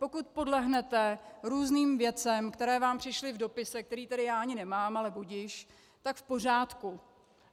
Pokud podlehnete různým věcem, které vám přišly v dopise, který tady já ani nemám, ale budiž, tak v pořádku.